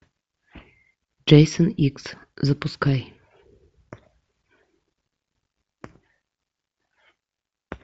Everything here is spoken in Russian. джейсон икс запускай